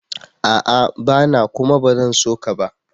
A'a! Bana kuma ba zan so ka ba.